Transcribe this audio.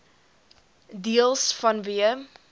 deels vanweë